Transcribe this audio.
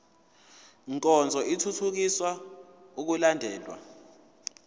nkonzo ithuthukisa ukulandelwa